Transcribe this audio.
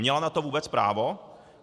Měla na to vůbec právo?